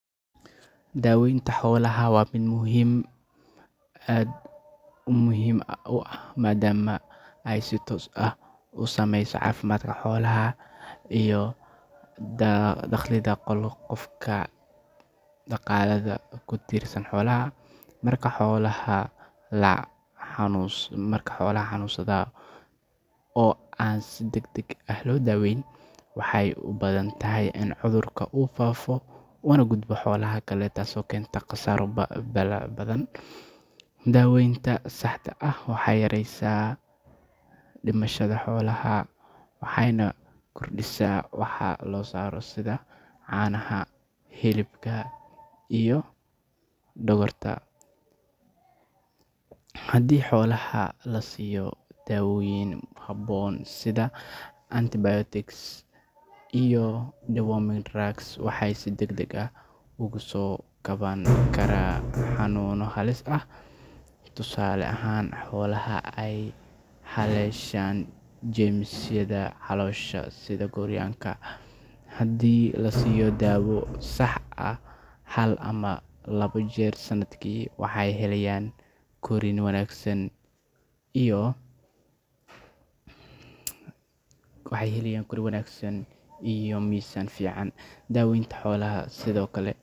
Daawaynta xoolaha waa mid aad muhiim u ah maadaama ay si toos ah u saameyso caafimaadka xoolaha iyo dakhliga qofka dhaqaalaha ku tiirsan xoolaha. Marka xoolaha la xanuunsado oo aan si degdeg ah loo daaweyn, waxay u badan tahay in cudurka uu faafo una gudbo xoolaha kale taasoo keenta khasaaro ballaaran. Daawaynta saxda ah waxay yareysaa dhimashada xoolaha, waxayna kordhisaa wax soo saarka sida caanaha, hilibka, iyo dhogorta. Haddii xoolaha la siiyo daawooyin habboon sida antibiotics ama deworming drugs, waxay si degdeg ah uga soo kaban karaan xanuunno halis ah. Tusaale ahaan, xoolaha ay haleeshaan jeermisyada caloosha sida gooryaanka, haddii la siiyo daawo sax ah hal ama laba jeer sanadkii, waxay helayaan korriin wanaagsan iyo miisaan fiican. Daweynta sido kale.